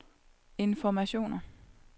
informationer